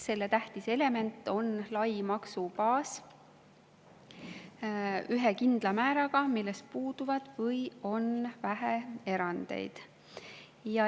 Selle tähtis element on lai maksubaas ühe kindla määraga, milles puuduvad erandid või on neid vähe.